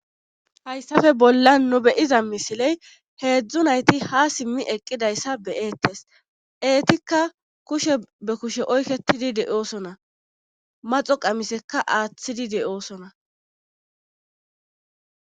Hayssafe bolla nu beyiza misiley heedzdzu nayti ha simmi eqqidayssa be eettes eetikka kushe be kushe oyketidi de7oosona maxo qamisekka aaththidi de'oosona